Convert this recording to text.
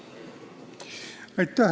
Aitäh!